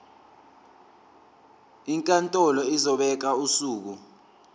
inkantolo izobeka usuku